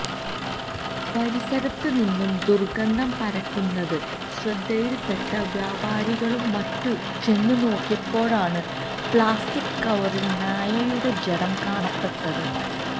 പരിസരത്ത് നിന്ന് ദുര്ഗന്ധം പരക്കുന്നത് ശ്രദ്ധയില്പ്പെട്ട വ്യാപാരികളും മറ്റും ചെന്നു നോക്കിയപ്പോഴാണ് പ്ലാസ്റ്റിക് കവറില് നായയുടെ ജഡം കാണപ്പെട്ടത്